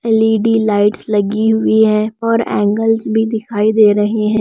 L E D lights लगी हुई है और एंगल्स भी दिखाई दे रहे हैं।